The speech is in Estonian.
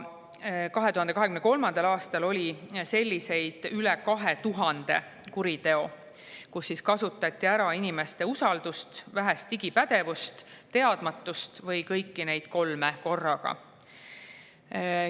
2023. aastal oli üle 2000 selliseid kuritegusid, kus kasutati ära inimeste usaldust, vähest digipädevust, teadmatust või kõiki neid kolme korraga.